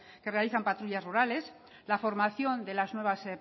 que realizan patrullas rurales la formación de las nuevas